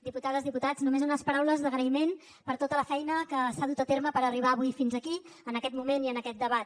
diputades diputats només unes paraules d’agraïment per tota la feina que s’ha dut a terme per arribar avui fins aquí en aquest moment i en aquest debat